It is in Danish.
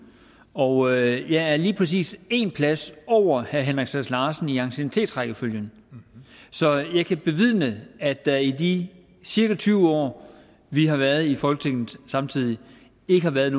og jeg er lige præcis én plads over herre henrik sass larsen i anciennitetsrækkefølgen så jeg kan bevidne at der i de cirka tyve år vi har været i folketinget samtidig ikke har været et